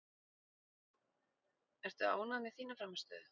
Ertu ánægð með þína frammistöðu?